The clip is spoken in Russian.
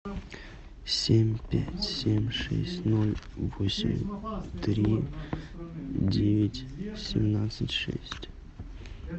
семь пять семь шесть ноль восемь три девять семнадцать шесть